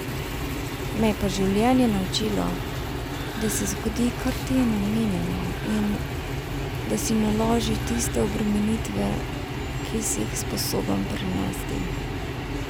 Me pa je življenje naučilo, da se zgodi, kar ti je namenjeno in, da si naloži tiste obremenitve, ki si jih sposoben prenesti.